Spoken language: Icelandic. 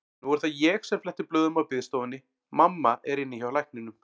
Nú er það ég sem fletti blöðum á biðstofunni, mamma er inni hjá lækninum.